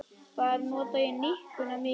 Þar nota ég nikkuna mikið.